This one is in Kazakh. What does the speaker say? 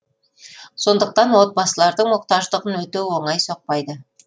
сондықтан отбасылардың мұқтаждығын өтеу оңай соқпайды